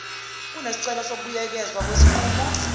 kunesicelo sokubuyekezwa kwesinqumo